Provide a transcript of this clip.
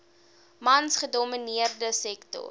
mans gedomineerde sektor